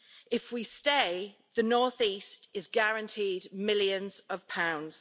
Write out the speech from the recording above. If we stay, the North-East is guaranteed millions of pounds.